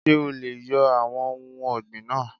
Ṣé o leè yo àwon ohun ògbìn náà